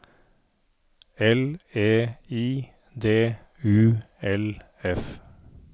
L E I D U L F